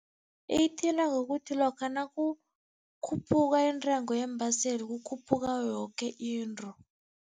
Iyithinta ngokuthi lokha nakukhuphuka intengo yeembaseli kukhuphuka yoke into.